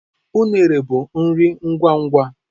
Unere bụ nri ngwa ngwa.